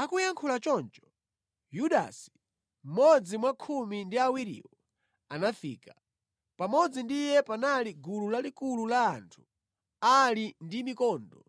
Akuyankhula choncho, Yudasi mmodzi mwa khumi ndi awiriwo anafika. Pamodzi ndi iye panali gulu lalikulu la anthu ali ndi mikondo